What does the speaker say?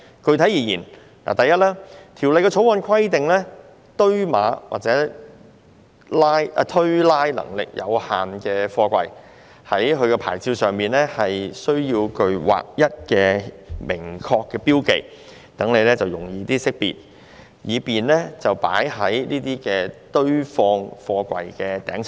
具體而言，第一，《條例草案》規定堆碼或推拉能力有限的貨櫃，其牌照上須具劃一的顯眼標記，使其容易識別，以便置放在堆放貨櫃的頂層。